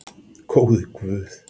Góði Guð!